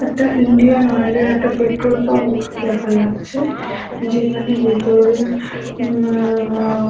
একটা Indian oil এর একটা পেট্রোল পাম্প দেখা যাচ্ছে যেখানে ভেতরে উমআআহহ--